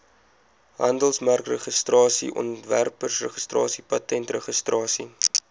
handelsmerkregistrasie ontwerpregistrasie patentregistrasie